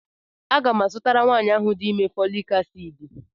A ga-mu azụtara nwaanyi ahụ di ime fọọlịc aciidị.